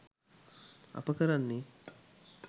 අප කරන්නේ